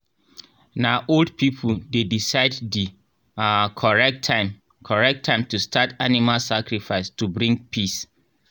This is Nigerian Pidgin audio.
na old people dey decide the um correct time correct time to start animal sacrifice to bring peace.